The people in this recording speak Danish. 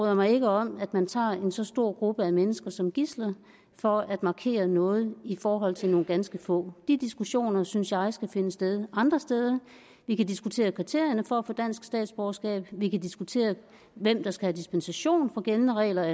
jeg mig ikke om at man tager en så stor gruppe af mennesker som gidsler for at markere noget i forhold til nogle ganske få de diskussioner synes jeg skal finde sted andre steder vi kan diskutere kriterierne for at få dansk statsborgerskab vi kan diskutere hvem der skal have dispensation fra gældende regler og